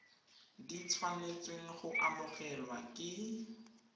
di tshwanetseng go amogelwa ke